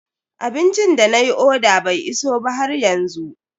Abincin da nayi oda bai iso ba haryanzu.